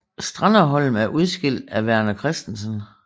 Stranderholm er udskilt af Verner Christensen